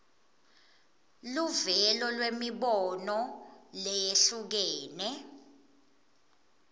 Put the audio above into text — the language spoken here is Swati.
luvelo lwemibono leyehlukene